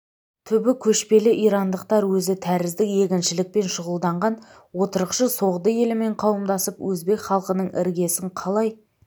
түбі көшпелі ирандықтар өзі тәрізді егіншілікпен шұғылданған отырықшы соғды елімен қауымдасып өзбек халқының іргесін қалай